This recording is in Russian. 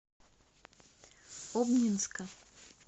обнинска